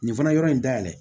Nin fana yɔrɔ in dayɛlɛ